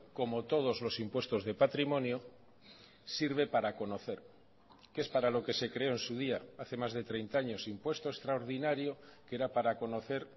como todos los impuestos de patrimonio sirve para conocer que es para lo que se creó en su día hace más de treinta años impuesto extraordinario que era para conocer